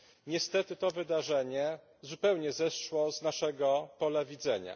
Niestety to wydarzenie zupełnie zeszło z naszego pola widzenia.